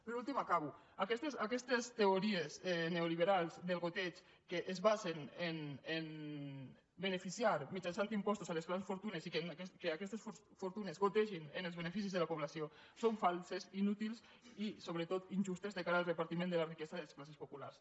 per últim acabo aquestes teories neoliberals del degoteig que es basen en el fet de beneficiar mitjançant impostos les grans fortunes i que aquestes fortunes gotegin en els beneficis de la població són falses inútils i sobretot injustes de cara al repartiment de la riquesa i les classes populars